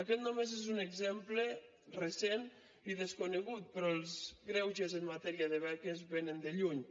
aquest només n’és un exemple recent i desconegut però els greuges en matèria de beques vénen de lluny